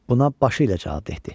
Buna başı ilə cavab verdi.